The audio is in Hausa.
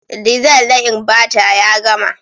Diesel na Inverter ya gama.